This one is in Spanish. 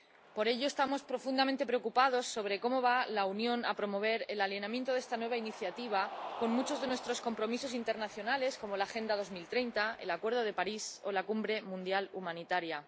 Por ello, estamos profundamente preocupados por cómo va a promover la Unión el alineamiento de esta nueva iniciativa con muchos de nuestros compromisos internacionales como la Agenda 2030, el Acuerdo de París o la Cumbre Mundial Humanitaria.